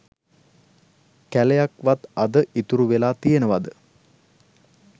කැලයක් වත් අද ඉතුරු වෙලා තියනවද?